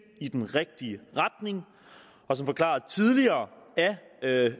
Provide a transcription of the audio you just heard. i den rigtige retning og som forklaret tidligere